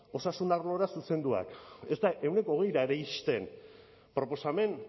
osasun arlora zuzenduak ez da ehuneko hogeira ere iristen proposamen